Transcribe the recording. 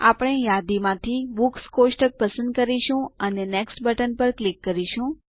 આપણે યાદીમાંથી બુક્સ કોષ્ટક પસંદ કરીશું અને નેક્સ્ટ બટન પર ક્લિક કરીશું